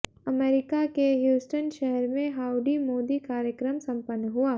America के Houston शहर में हाउडी मोदी कार्यक्रम संपन्न हुआ